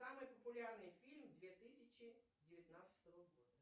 самый популярный фильм две тысячи девятнадцатого года